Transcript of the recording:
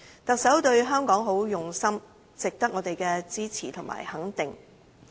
特首對香港很用心，值得我們支持和肯定。